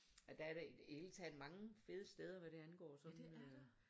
Og der er da i det hele taget mange fede steder hvad det angår sådan øh